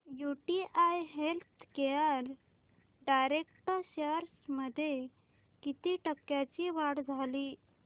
UTI healthcare direct shares मध्ये किती टक्क्यांची वाढ झाली